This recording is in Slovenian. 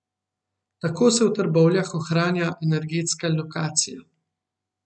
Tako se v Trbovljah ohranja energetska lokacija.